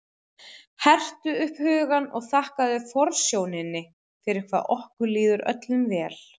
Hertu upp hugann og þakkaðu forsjóninni fyrir hvað okkur líður öllum vel.